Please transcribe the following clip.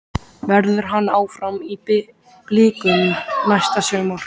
Verður hann áfram í Blikum næsta sumar?